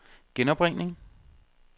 genopringning